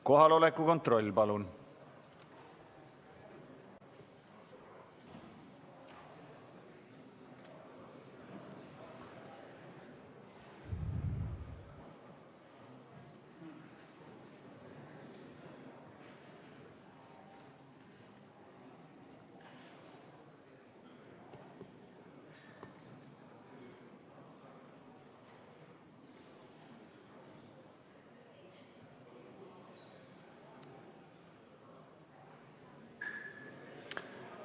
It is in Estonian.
Kohaloleku kontroll, palun!